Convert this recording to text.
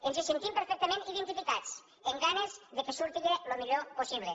ens sentim perfectament identificats amb ganes que surti el millor possible